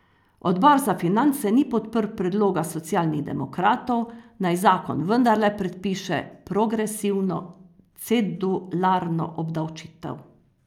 Odbor za finance ni podprl predloga Socialnih demokratov, naj zakon vendarle predpiše progresivno cedularno obdavčitev.